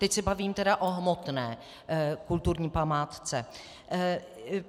Teď se bavím tedy o hmotné kulturní památce.